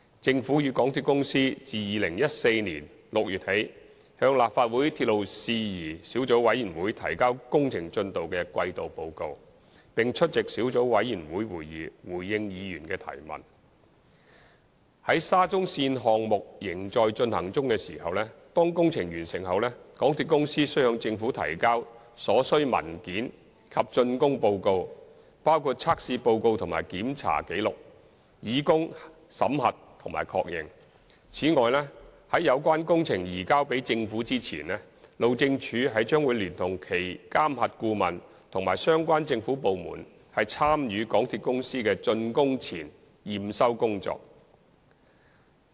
政府與港鐵公司自2014年6月起，向立法會鐵路事宜小組委員會提交工程進度的季度報告，並出席小組委員會會議，回應議員的提問。沙中線項目仍在進行，當工程完成後，港鐵公司須向政府提交所需文件及竣工報告以供審核並確認。此外，在有關工程移交給政府前，路政署將聯同其監核顧問和相關政府部門參與港鐵公司的竣工前驗收工作。